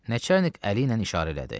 Nəçərnik əli ilə işarə elədi.